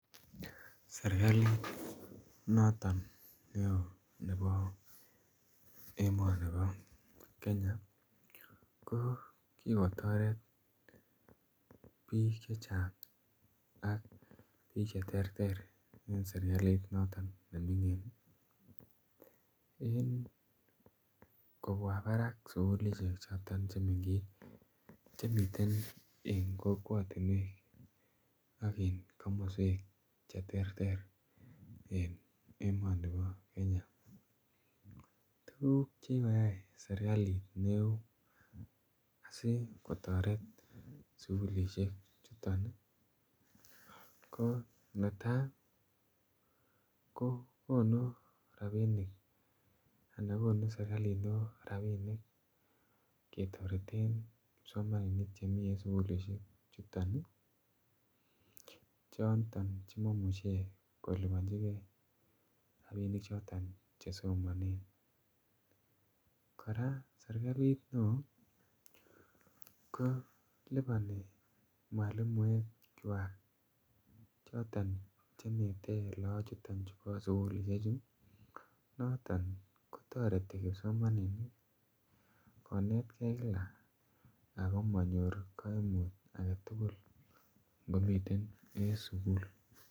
Serkalit noton neo nebo emoni bo Kenya ko kikotoret biik chechang ak biik cheterter en serkalit noton neming'in en kobwa barak sugulisiek choton chemeng'ech chemiten en kokwotinuekak en komoswek cheterter en emoni bo Kenya ,tuguk chekikoyai serkalit neo asikotoret sugulisiek chuton ii ko netai ii ko konu rabinik anan konu serkalit neo rabinik ketoreten kipsomaninik chemiten sugulisiek chuton ii choton chemoimuche koliponjigen rabinik choton chesomonen, kora serkalit neo koliponi mwalimuekchwak choton chenete lagok chuton bo sugulisiechu noton kotoreti kipsomaninik konetkei kila ako monyoru koimut agetugul ngomiten en sugul.